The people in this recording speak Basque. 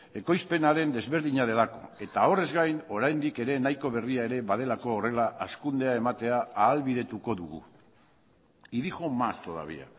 ekoizpenaren desberdina delako eta horrez gain oraindik ere nahiko berria ere badelako horrela hazkundea ematea ahalbidetuko dugu y dijo más todavía